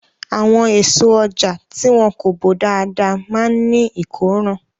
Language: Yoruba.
Àwọn èso ọjà tí wọn kò bò dáadáa máa ní ìkóràn.